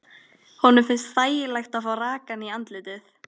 Honum finnst þægilegt að fá rakann í andlitið.